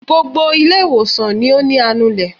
Gbogbo ilé ìwòsàn ló ní anulè.